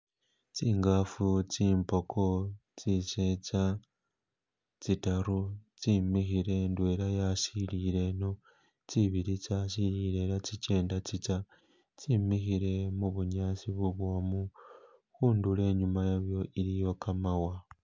Tsingafu tsimpoko, tsisetsa tsitaru tsimikhile indwela'yasilile ino, tsibili tsasilila kha'tsitsa tsemikhile khubunyasi bu'bwomu khundulo inyumayelo iliyo kamawa